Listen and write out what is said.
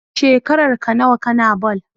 Shekarar ka nawa kana ball?